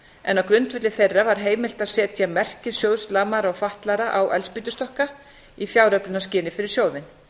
en á grundvelli þeirra var heimilt að setja merki sjóðs lamaðra og fatlaðra á eldspýtustokka í fjáröflunarskyni fyrir sjóðinn